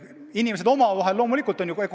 Aga inimesed omavahel loomulikult räägivad.